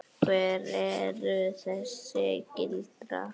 Hver eru þessi gildi?